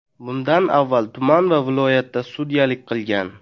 Bundan avval tuman va viloyatda sudyalik qilgan.